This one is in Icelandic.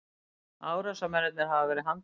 Árásarmennirnir hafa verið handteknir